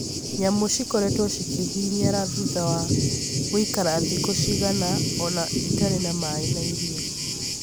nyamũ cikoretwo cikĩhinyara thutha wa gũikara thikũ cigana ona itarĩ na maĩ na irio